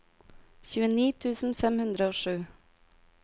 tjueni tusen fem hundre og sju